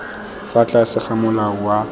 fa tlase ga molao wa